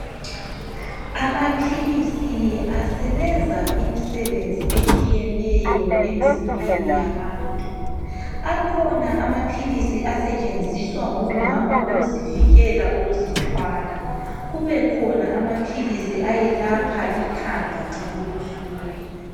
amaphilisi asebenza imisebenzi etshiyeneyo emizimbeni yabantu akhona amaphilisi asetshenziswa ngomama ukuzivikela ukuzithwala kubekhona amaphilisi ayelapha ikhanda nxalibuhlungu